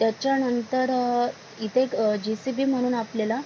त्याच्या नंतर इथे एक जे.सी.बी. म्हणून आपल्याला--